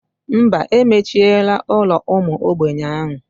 Mba, emechiela ụlọ ụmụ ogbenye ahụ.